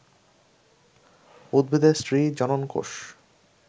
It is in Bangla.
উদ্ভিদের স্ত্রী জনন কোষ